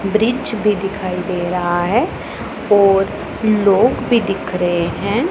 वृक्ष भी दिखाई दे रहा हैं और लोग भी दिख रहें हैं।